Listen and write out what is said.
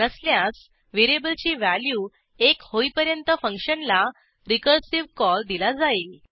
नसल्यास व्हेरिएबलची व्हॅल्यू एक होईपर्यंत फंक्शनला रिकर्सिव्ह कॉल दिला जाईल